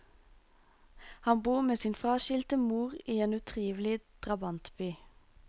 Han bor med sin fraskilte mor i en utrivelig drabantby.